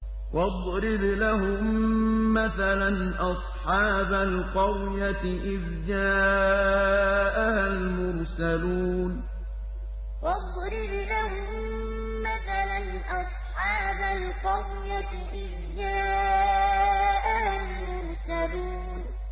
وَاضْرِبْ لَهُم مَّثَلًا أَصْحَابَ الْقَرْيَةِ إِذْ جَاءَهَا الْمُرْسَلُونَ وَاضْرِبْ لَهُم مَّثَلًا أَصْحَابَ الْقَرْيَةِ إِذْ جَاءَهَا الْمُرْسَلُونَ